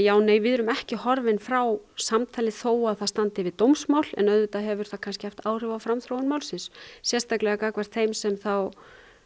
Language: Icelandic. við erum ekki horfin frá samtali þó að það standi yfir dómsmál en auðvitað hefur það kannski haft áhrif á framþróun málsins sérstaklega gagnvart þeim sem þá